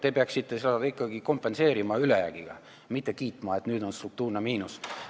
Te peaksite seda kompenseerima ülejäägiga, mitte kiitma, et nüüd on struktuurne miinus.